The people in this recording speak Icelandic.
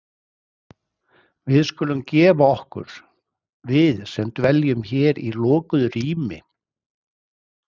Við skulum gefa okkur- við sem dveljum hér í lokuðu rými